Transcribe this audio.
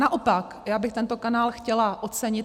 Naopak já bych tento kanál chtěla ocenit.